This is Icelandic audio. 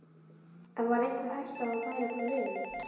En var einhver hætta á að hann færi frá liðinu?